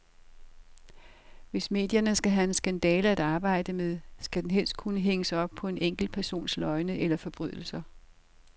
Hvis medierne skal have en skandale at arbejde med, skal den helst kunne hænges op på enkeltpersoners løgne eller forbrydelser.